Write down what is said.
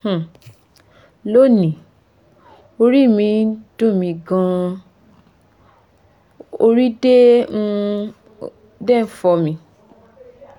um lónìí orí mi ń dunmi gan-an ori de um n fo mi